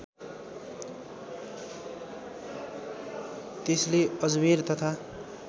त्यसले अजमेर तथा